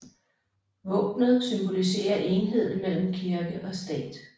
Våbnet symboliserer enheden mellem kirke og stat